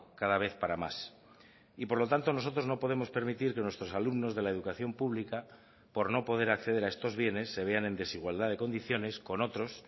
cada vez para más y por lo tanto nosotros no podemos permitir que nuestros alumnos de la educación pública por no poder acceder a estos bienes se vean en desigualdad de condiciones con otros